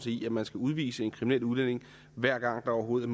i at man skal udvise en kriminel udlænding hver gang der overhovedet